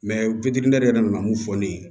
witiniyɛri yɛrɛ nana mun fɔ ne ye